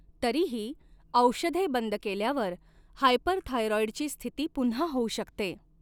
तरीही, औषधे बंद केल्यावर, हायपरथायरॉईडची स्थिती पुन्हा होऊ शकते.